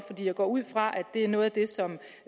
jeg går ud fra at det er noget af det som